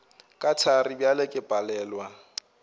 ke thari bjale ke palelwa